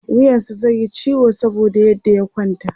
wuyansa zaiyi ciwo saboda yadda ya kwanta